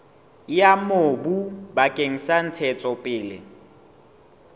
ya mobu bakeng sa ntshetsopele